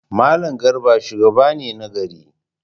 Mallam Garba shugaba ne na gari.